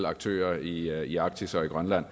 aktører i arktis og i grønland